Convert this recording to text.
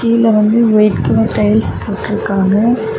கீழ வந்து white colour tiles போட்டுருக்காங்க.